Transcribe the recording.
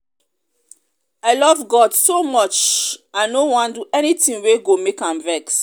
i love god so much i no wan do anything wey go make am vex